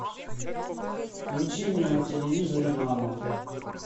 включи мне на телевизоре нано